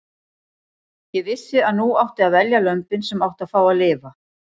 Ég vissi að nú átti að velja lömbin sem áttu að fá að lifa.